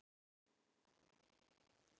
Ég verð jafngóð og ný.